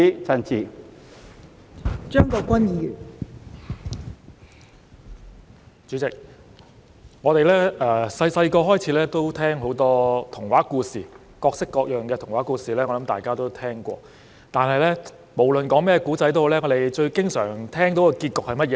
代理主席，我們小時候聽過很多童話故事，各式各樣的童話故事，我想大家都聽過；但是，無論甚麼故事，我們最經常聽到的結局是甚麼呢？